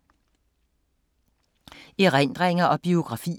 Erindringer og biografier